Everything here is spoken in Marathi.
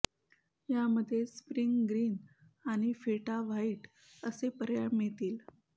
यामध्ये स्प्रिंग ग्रीन आणि फेटा व्हाइट असे पर्याय मिळतील